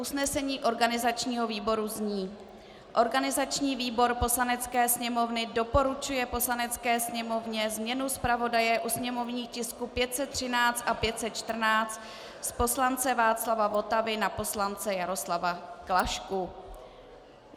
Usnesení organizačního výboru zní: Organizační výbor Poslanecké sněmovny doporučuje Poslanecké sněmovně změnu zpravodaje u sněmovních tisků 513 a 514 z poslance Václava Votavy na poslance Jaroslava Klašku.